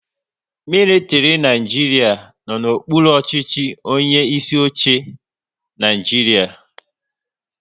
Militiri Naijiria no n'okpuru ọchịchị onye isi oche Naịjiria